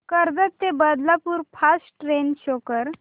कर्जत ते Badlapur fast train show कर